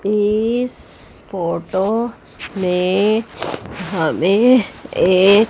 इस फोटो में हमें एक--